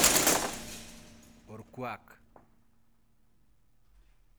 Orkuak.